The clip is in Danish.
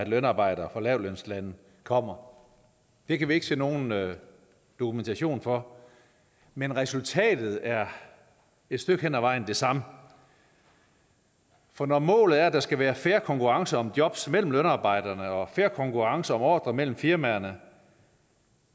lønarbejdere fra lavtlønslande kommer det kan vi ikke se nogen nogen dokumentation for men resultatet er et stykke hen ad vejen det samme for når målet er at der skal være fair konkurrence om jobs mellem lønarbejderne og fair konkurrence om ordrer mellem firmaerne